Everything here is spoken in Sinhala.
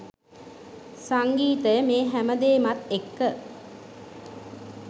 සංගීතය මේ හැම දේමත් එක්ක